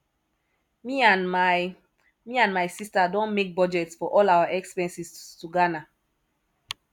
me and my me and my sister don make budget for all our expenses to ghana